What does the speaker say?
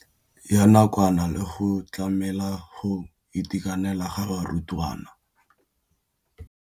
ya nakwana le go tlamela go itekanela ga barutwana.